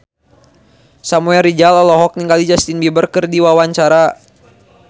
Samuel Rizal olohok ningali Justin Beiber keur diwawancara